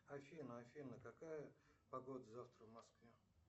афина афина какая погода завтра в москве